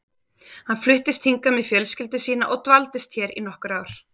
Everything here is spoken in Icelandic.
Hann fluttist hingað með fjölskyldu sína og dvaldist hér í nokkur ár.